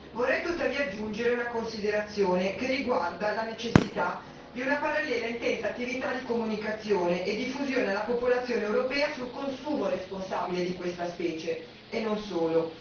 Vorrei tuttavia aggiungere una considerazione che riguarda la necessità di una parallela intensa attività di comunicazione e diffusione alla popolazione europea sul consumo responsabile di questa specie e non solo.